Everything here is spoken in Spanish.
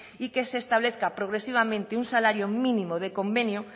y que se establezca progresivamente un salario mínimo de convenio